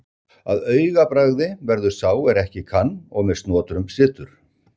Að augabragði verður sá er ekki kann og með snotrum situr.